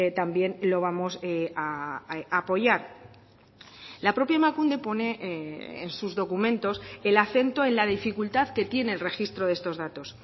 también lo vamos a apoyar la propia emakunde pone en sus documentos el acento en la dificultad que tiene el registro de estos datos